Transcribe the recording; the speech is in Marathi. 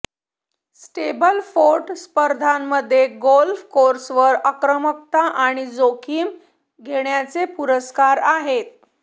स्टेबलफोर्ड स्पर्धांमध्ये गोल्फ कोर्सवर आक्रमकता आणि जोखीम घेण्याचे पुरस्कार आहेत